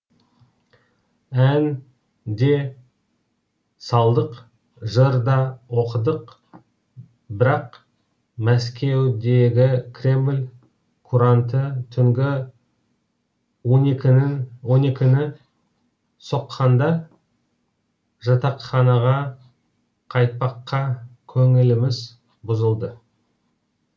ән де салдық жыр да оқыдық бірақ мәскеудегі кремль куранты он екінігі соққанда жатақханаға қайтпаққа көңіліміз бұзылды